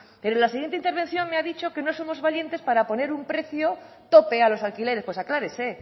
pero en la siguiente intervención me ha dicho que no somos valientes para poner un precio tope a los alquileres pues aclárese